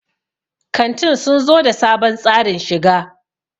kantin sun zo da sabon tsarin shiga